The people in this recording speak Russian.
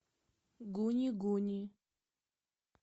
гуни гуни